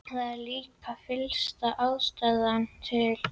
Það er líka fyllsta ástæða til.